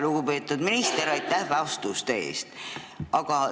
Lugupeetud minister, aitäh vastuste eest!